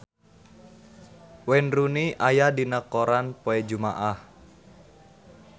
Wayne Rooney aya dina koran poe Jumaah